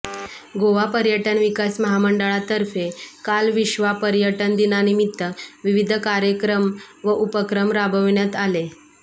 गोवा पर्यटन विकास महामंडळातर्फे काल विश्वा पर्यटन दिनानिमित्त विविध कार्यक्राम व उपक्रम राबविण्यात आले